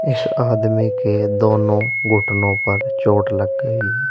इस आदमी के दोनों घुटनों पर चोट लग गई है।